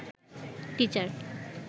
teacher